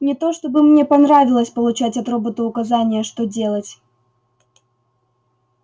не то чтобы мне понравилось получать от робота указания что делать